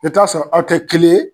Bɛ taa'a sɔrɔ aw tɛ kelen ye